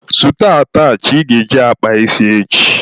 Zụta atachị ị ga-eji kpaa isi echi!